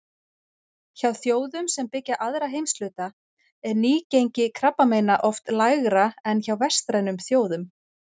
Hjá þjóðum sem byggja aðra heimshluta er nýgengi krabbameina oft lægra en hjá vestrænum þjóðum.